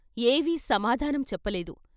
ఏవీ సమాధానం చెప్పలేదు.